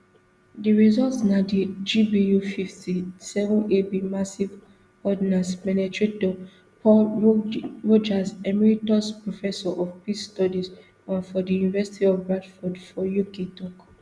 di result na di gbufifty-sevenab massive ordnance penetrator paul rogers emeritus professor of peace studies um for di university of bradford for uk tok